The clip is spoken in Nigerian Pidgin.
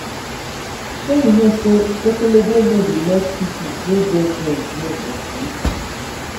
shey you no sey ekelebe no dey let pipo wey get benz rest for street.